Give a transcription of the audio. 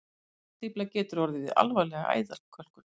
Kransæðastífla getur orðið við alvarlega æðakölkun.